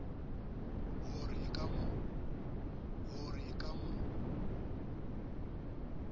ho re e ka mo